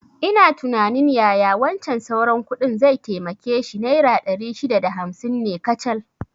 Ina tunanin yaya wancan sauran kuɗin zai taimake shi, naira ɗari shida da hamsin ne kacal